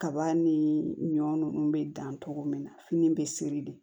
Kaba ni ɲɔ ninnu be dan togo min na fini be seri de